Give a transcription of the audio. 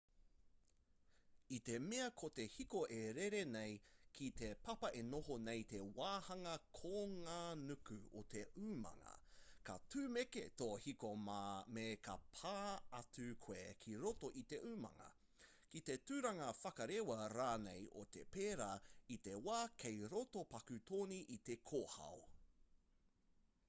i te mea ko te hiko e rere nei ki te papa e noho nei te wāhanga konganuku o te umanga ka tūmeke tō hiko me ka pā atu koe ki roto o te umanga ki te turanga whakarewa rānei o te pēra i te wā kei roto paku toni i te kōhao